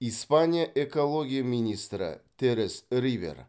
испания экология министрі терес рибер